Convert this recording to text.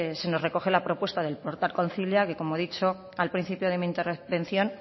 se nos recoge la propuesta del portal concilia que como ya he dicho al principio de mi intervención